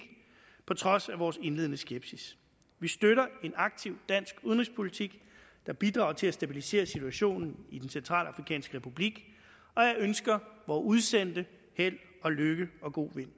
på trods af vores indledende skepsis vi støtter en aktiv dansk udenrigspolitik der bidrager til at stabilisere situationen i den centralafrikanske republik og jeg ønsker vore udsendte held og lykke og god vind